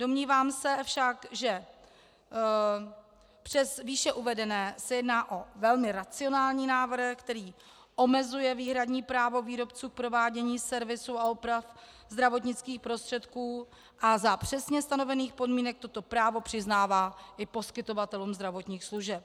Domnívám se však, že přes výše uvedené se jedná o velmi racionální návrh, který omezuje výhradní právo výrobců k provádění servisu a oprav zdravotnických prostředků a za přesně stanovených podmínek toto právo přiznává i poskytovatelům zdravotních služeb.